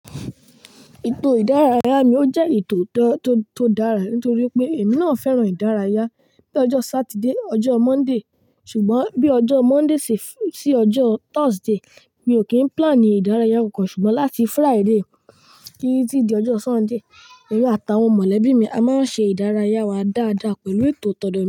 Ètò ìdárayá mi ò jẹ́ ètò tó dára nítorí pé èmi náà fẹ́ràn ìdárayá. Bí ọjọ́ Saturday, ọjọ́ Monday ṣùgbọ́n bí ọjọ́ Monday sí ọjọ́ Thursday mi ò kí ń plan ni ìdárayá kankan ṣùgbọ́n láti Friday kí i tí di ọjọ́ Sunday èmi àtàwọn mọ̀lẹ́bí mi a máa ń ṣe ìdárayá wa dáadáa pẹ̀lú ètò tó.